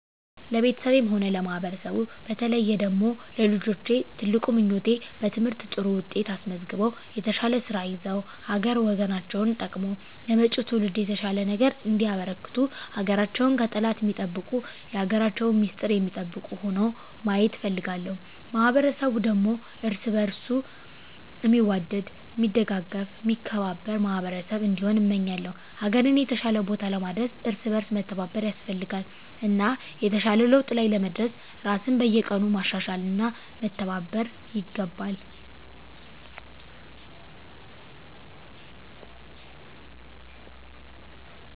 ለቤተሰቤም ሆነ ለማህበረሰቡ በተለየ ደግሞ ለልጆቼ ትልቁ ምኞቴ በትምህርት ጥሩ ውጤት አስመዝግበው የተሻለ ስራ ይዘው ሀገር ወገናቸውን ጠቅመው ለመጭው ትውልድ የተሻለ ነገር እንዲያበረክቱ ሀገራቸውን ከጠላት ሚጠብቁ የሀገራቸውን ሚስጥር ሚጠብቁ ሁነው ማየት እፈልጋለሁ። ማህበረሰቡ ደግሞ እርስ በእርሱ ሚዋደድ ሚደጋገፍ ሚከባበር ማህበረሰብ እንዲሆን እመኛለው። ሀገርን የተሻለ ቦታ ለማድረስ እርስ በእርስ መተባበር ያስፈልጋል እና የተሻለ ለውጥ ላይ ለመድረስ ራስን በየቀኑ ማሻሻል እና መተባበር ይገባል።